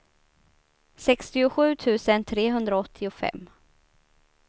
sextiosju tusen trehundraåttiofem